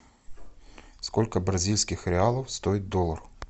сколько бразильских реалов стоит доллар